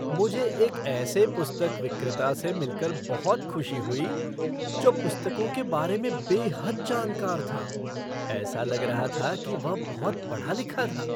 मुझे एक ऐसे पुस्तक विक्रेता से मिल कर बहुत खुशी हुई जो पुस्तकों के बारे में बेहद जानकार था। ऐसा लग रहा था कि वह बहुत पढ़ा लिखा था।